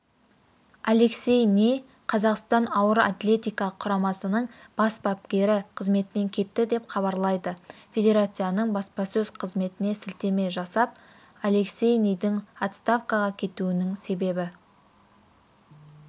алексей ни қазақстан ауыр атлетика құрамасының бас бапкері қызметінен кетті деп хабарлайды федерацияның баспасөз-қызметіне сілтеме жасап алексей нидің отставкаға кетуінің себебі